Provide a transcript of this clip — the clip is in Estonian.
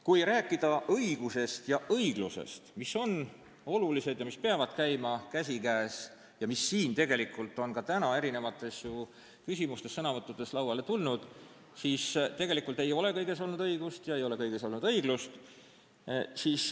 Kui rääkida õigusest ja õiglusest, mis on olulised, peavad käima käsikäes ning mis siin on ka täna küsimustes ja sõnavõttudes ju kõne alla tulnud, siis tuleb öelda, et tegelikult ei ole kõiges olnud õigust ega ole kõiges olnud õiglust.